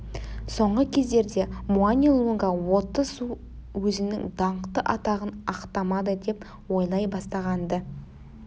соңғы кездерде муани-лунга отты су өзінің даңқты атағын ақтамады деп ойлай бастаған-ды